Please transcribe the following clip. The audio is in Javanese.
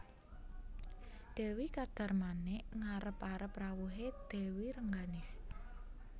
Dewi Kadarmanik ngarep arep rawuhé Dèwi Rengganis